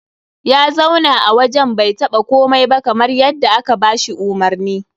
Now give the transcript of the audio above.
Ya zauna a wajen bai taɓa komai ba kamar dai yadda aka ba shi umarni.